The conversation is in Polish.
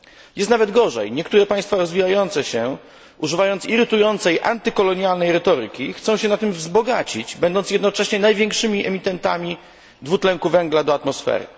Jest nawet gorzej, niektóre państwa rozwijające się używając irytującej antykolonialnej retoryki chcą się na tym wzbogacić, będąc jednocześnie największymi emitentami dwutlenku węgla do atmosfery.